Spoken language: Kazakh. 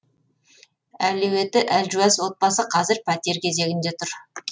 әлеуеті әлжуаз отбасы қазір пәтер кезегінде тұр